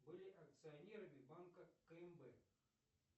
были акционерами банка кмб